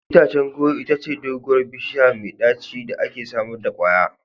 Itacen goro itace doguwar bishiya ce mai daci da ke samar da kwaya.